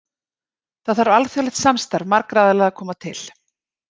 Þar þarf alþjóðlegt samstarf marga aðila að koma til.